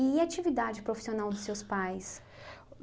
E a atividade profissional dos seus pais?